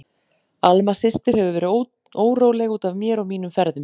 Alma systir hefur verið óróleg út af mér og mínum ferðum.